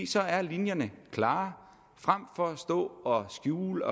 så er linjerne klare frem for at stå og skjule